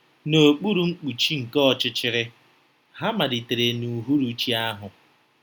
N’okpuru mkpuchi nke ọchịchịrị, ha malitere n’uhuruchi ahụ.